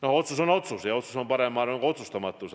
Otsus on muidugi otsus ja otsus on parem kui otsustamatus.